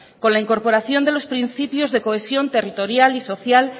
con la incorporación de los principios de cohesión territorial y social